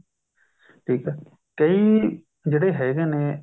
ਠੀਕ ਹੈ ਕਈ ਜਿਹੜੇ ਹੈਗੇ ਨੇ